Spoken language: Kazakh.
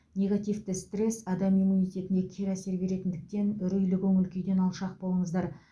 негативті стресс адам иммунитетіне кері әсер беретіндіктен үрейлі көңіл күйден алшақ болыңыздар